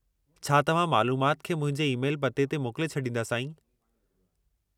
छा तव्हां मालूमाति खे मुंहिंजे ईमेल पते ते मोकिले छॾींदा, साईं?